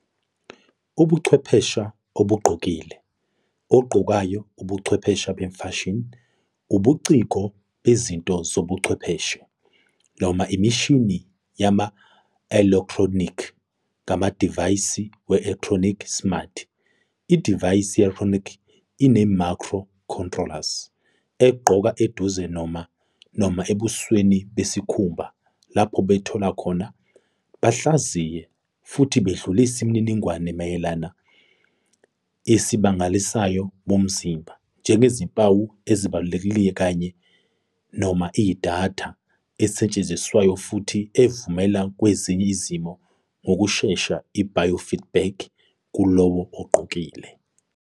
Ubuchwepheshe obugqokile, ogqokayo, ubuchwepheshe bemfashini, ubuciko bezinto zobuchwepheshe, noma imishini yama-elekthronikhi ngamadivayisi we-elekthronikhi smart, idivaysi ye-elekthronikhi ene-micro-controlers, egqoke eduze noma, noma ebusweni besikhumba, lapho bethola khona, bahlaziye, futhi bedlulise imininingwane mayelana isib amasignali womzimba anjengezimpawu ezibalulekile, kanye, noma idatha esetshenziswayo futhi evumela kwezinye izimo ngokushesha i-biofeedback kulowo ogqokile